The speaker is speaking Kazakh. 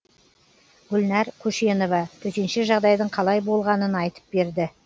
гүлнар көшенова төтенше жағдайдың қалай болғанын айтып берді